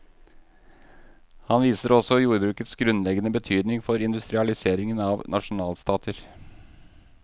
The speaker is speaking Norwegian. Han viser også jordbrukets grunnleggende betydning for industrialseringen av nasjonalstater.